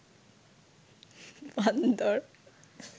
বান্দর